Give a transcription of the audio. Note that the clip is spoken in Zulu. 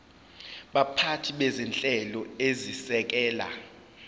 baphathi bezinhlelo ezisekela